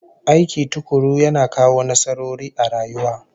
Aiki tukuru yana kawo nasarori a rayuwa